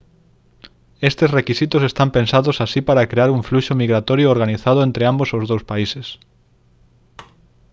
estes requisitos están pensados así para crear un fluxo migratorio organizado entre ambos os dous países